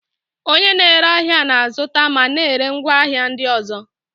Onye na-ere ahịa na-azụta ma na-ere ngwaahịa ndị ọzọ.